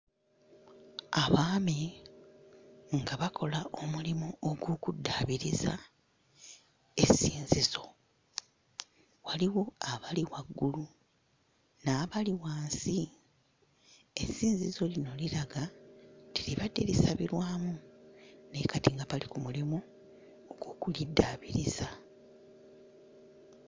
Abaami nga bakola omulimu ogw'okuddaabiriza essinzizo, waliwo abali waggulu n'abali wansi, essinzizo lino liraga nti libadde lisabirwamu naye nga kati bali ku mulimu ogw'okuliddaabiriza.